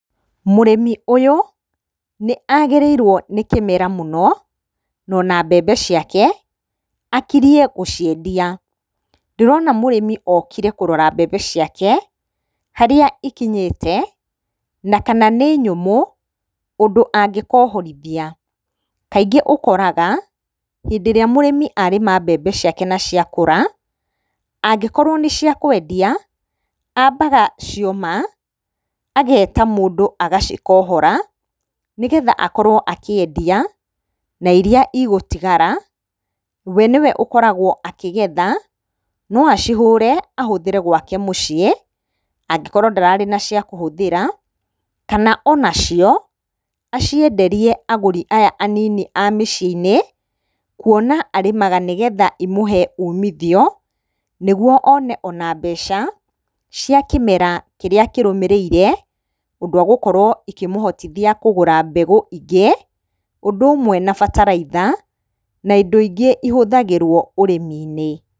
Mũrĩmi ũyũ nĩ agĩrĩirwo nĩ kĩmera mũno, no na mbembe ciake akirie gũciendia. Ndĩrona mũrĩmi okire kũrora mbembe ciake harĩa ikinyĩte, na kana nĩ nyũmũ ũndũ angĩkohorithia. Kaingĩ ũkoraga hĩndĩ ĩrĩa mũrĩmi arĩma mbembe ciake na cia kũra, angĩkorwo nĩ cia kwendia, ambaga cioma, ageeta mũndũ agacikohora nĩ getha akorwo akĩendia na iria igũtigara we nĩ we ũkoragwo akĩgetha, no acihũre ahũthĩre gwake mũciĩ angĩkorwo ndararĩ na cia kũhũthĩra, kana ona cia acienderie agũri aya anini a mĩciĩ-inĩ kuona arĩmaga nĩgetha imũhe umithio nĩguo one ona mbeca cia kĩmera kĩrĩa kĩrũmĩrĩire ũndũ agũkorwo ikĩmũhotithia kũgũra mbegu ingĩ, ũndũ ũmwe na bataraitha, na indo ingĩ ihũthagĩrwo ũrĩmi-inĩ.